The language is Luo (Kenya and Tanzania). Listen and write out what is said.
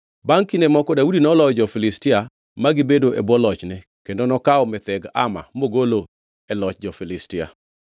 Bangʼ kinde moko Daudi noloyo jo-Filistia ma gibedo e bwo lochne, kendo nokawo Metheg Ama mogolo e loch jo-Filistia.